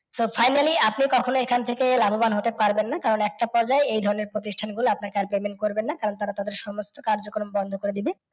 So finally আপনি কখনো এখান থেকে লাভবান হতে পারবেন না কারণ একটা পর্যায়ে এই ধরনের প্রতিষ্ঠান গুলো আপনাকে আর payment করবেনা কারণ তারা তাদের সমস্ত কার্যকরণ বন্ধ করে দিবে।